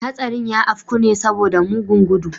Hastarin ya afku ne saboda mugun gudu.